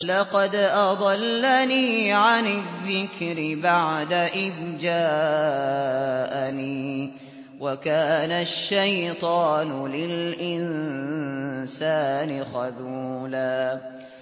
لَّقَدْ أَضَلَّنِي عَنِ الذِّكْرِ بَعْدَ إِذْ جَاءَنِي ۗ وَكَانَ الشَّيْطَانُ لِلْإِنسَانِ خَذُولًا